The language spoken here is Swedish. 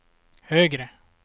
högre